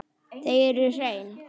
Þau eru hrein.